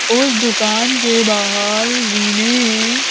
उस दुकान के बाहर जी ने--